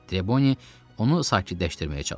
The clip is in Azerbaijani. Treboni onu sakitləşdirməyə çalışdı.